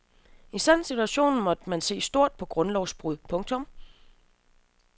I en sådan situation måtte man se stort på grundlovsbrud. punktum